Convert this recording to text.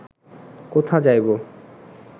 কোথা যাইব